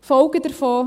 Folgen davon: